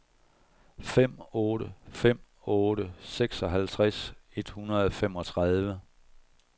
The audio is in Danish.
fem otte fem otte seksoghalvtreds et hundrede og femogtredive